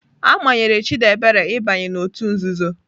A manyere Chidebere ịbanye n'òtù nzuzo.